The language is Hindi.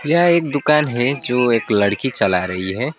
यह एक दुकान है जो एक लड़की चला रही है।